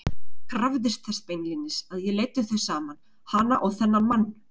Krafðist þess beinlínis að ég leiddi þau saman, hana og þennan mann!